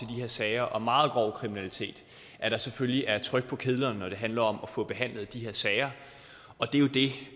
her sager om meget grov kriminalitet at der selvfølgelig er tryk på kedlerne når det handler om at få behandlet de her sager og det er jo det